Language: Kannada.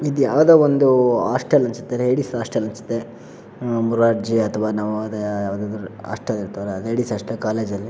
ಇದು ಯಾವುದೊ ಒಂದು ಹಾಸ್ಟೆಲ್ ಅನಿಸುತ್ತೆ ಲೇಡೀಸ್ ಹಾಸ್ಟೆಲ್ ಅನಿಸುತ್ತೆ. ಮೊರಾರ್ಜಿ ಅಥವಾ ನವೋದಯ ಯಾವ್ದಾದ್ರು ಹಾಸ್ಟೆಲ್ ಇರ್ತಾವಲ್ಲ ಲೇಡೀಸ್ ಹಾಸ್ಟೆಲ್ ಕಾಲೇಜ್ ಲ್ಲಿ--